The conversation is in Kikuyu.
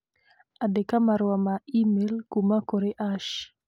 Andĩka marũa ma e-mail kuuma kũrĩ Ash